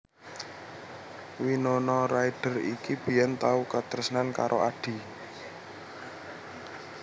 Winona Ryder iki biyen tau katresnan karo Adi